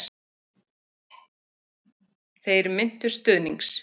Þeir minntust stuðnings